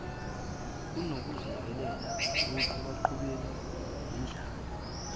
kunokuziyekelela ekubhuqabhuqweni yindlala